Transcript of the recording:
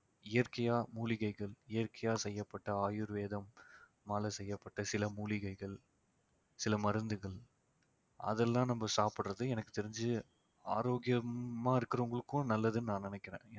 இயற்கையா மூலிகைகள், இயற்கையா செய்யப்பட்ட ஆயுர்வேதம் செய்யப்பட்ட சில மூலிகைகள் சில மருந்துகள் அதெல்லாம் நம்ம சாப்பிடுறது எனக்கு தெரிஞ்சு ஆரோக்கியமா இருக்கிறவங்களுக்கும் நல்லதுன்னு நான் நினைக்கிறேன்